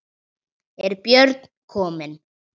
Er Björn kominn?